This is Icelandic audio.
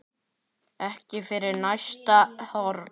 Ekki fyrir næsta horn.